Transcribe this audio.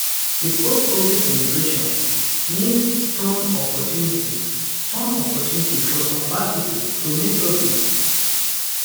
di postcovid immigration needs turn opportunity turn opportunity for some bad pipo to make profit